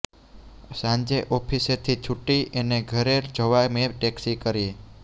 સાંજે ઑફિસેથી છૂટી એને ઘેર જવા મેં ટૅક્સી કરી